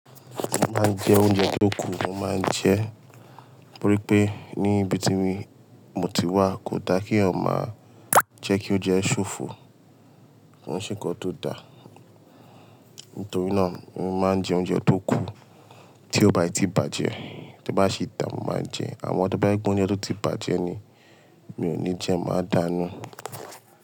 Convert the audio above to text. Mo máa ń jẹ oúnjẹ tó kù, mo máa ń jẹ́ torí pé níbi tí mi mo ti wà kò da kí èyàn máa jẹ́ kí ó jẹ́ ṣòfò, kò sí ń ṣe nnkan tó da. Nítorí náà mo máa ń jẹ oúnjẹ tó kù tí ó bá ti bàjẹ́, tí bá ṣe dá mo máa jẹ ẹ́. Àmọ́ tí bá jẹ́ pé oúnje tí ó ti bàjẹ́ ni mi ò ní jẹ ẹ́, máa dànù ú.